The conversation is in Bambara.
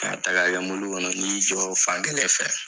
Ka ta k'a kɛ mɔbili kɔnɔ ni y'i jɔ fankelen fɛ